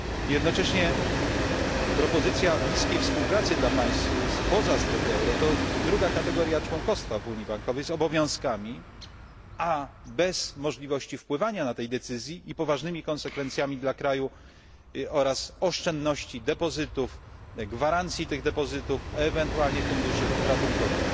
Jednocześnie propozycja bliskiej współpracy dla państw spoza strefy euro to druga kategoria członkostwa w unii bankowej z obowiązkami, a bez możliwości wpływania na te decyzje, i z poważnymi konsekwencjami dla kraju oraz oszczędności, depozytów, gwarancji tych depozytów, ewentualnie funduszy ratunkowych.